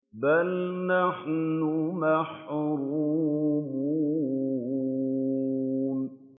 بَلْ نَحْنُ مَحْرُومُونَ